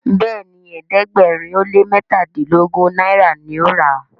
Béèni ẹ̀ẹ́dẹ̀gbẹ̀rin o lẹ mẹtadilogun náírà ní o rà.